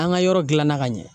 An ka yɔrɔ gilanna ka ɲɛ